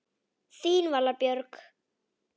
Þín Vala Björg.